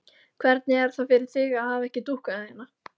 Hvernig er það fyrir þig að hafa ekki dúkkuna þína?